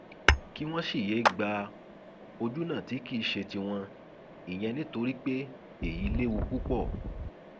kí wọn sì yéé gba ojúnà tí kì í ṣe tiwọn ìyẹn nítorí pé èyí léwu púpọ